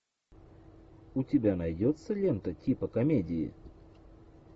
у тебя найдется лента типа комедии